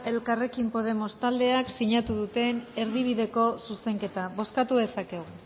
elkarrekin podemos taldeak sinatu duten erdibideko zuzenketa bozkatu dezakegu